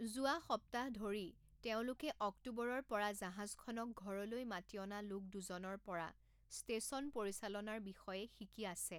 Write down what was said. যোৱা সপ্তাহ ধৰি, তেওঁলোকে অক্টোবৰৰ পৰা জাহাজখনক ঘৰলৈ মাতি অনা লোক দুজনৰ পৰা ষ্টেচন পৰিচালনাৰ বিষয়ে শিকি আছে।